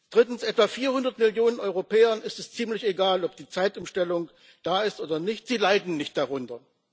Drittens Etwa 400 Millionen Europäern ist es ziemlich egal, ob die Zeitumstellung da ist oder nicht sie leiden nicht darunter.